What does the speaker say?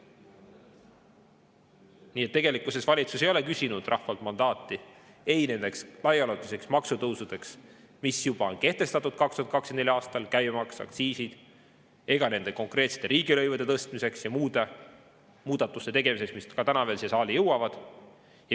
Nii et tegelikkuses valitsus ei ole küsinud rahvalt mandaati ei nendeks laiaulatuslikeks maksutõusudeks, mis juba on kehtestatud 2024. aastal – käibemaks, aktsiisid –, ega nende konkreetsete riigilõivude tõstmiseks ja muude muudatuste tegemiseks, mis veel täna siia saali jõuavad.